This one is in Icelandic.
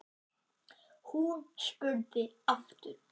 Hún spurði aftur.